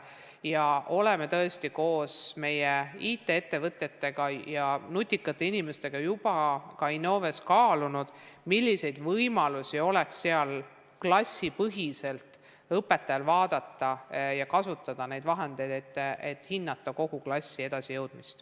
Me oleme koos IT-ettevõtetega ja nutikate inimestega ka Innoves kaalunud, millised võimalused oleks õpetajal klassipõhiselt neid vahendeid kasutada, et hinnata kogu klassi edasijõudmist.